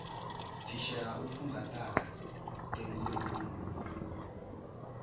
thishela ufundza taga tenkhulumo